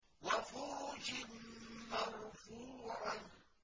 وَفُرُشٍ مَّرْفُوعَةٍ